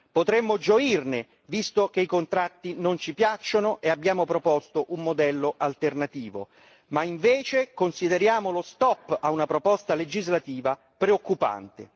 Potremmo gioirne visto che i contratti non ci piacciono e abbiamo proposto un modello alternativo, ma invece consideriamo lo stop a una proposta legislativa preoccupante.